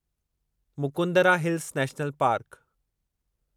Mukundra hills national park